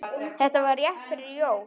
Þetta var rétt fyrir jól.